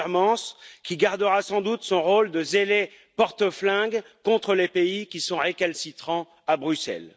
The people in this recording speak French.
Timmermans, qui gardera sans doute son rôle de zélé porte flingue contre les pays qui sont récalcitrants à Bruxelles.